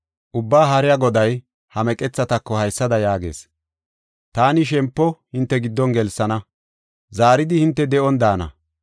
Ubbaa Haariya Goday ha meqethatako haysada yaagees: ‘Taani shempo hinte giddo gelsana; zaaridi hinte de7on daana.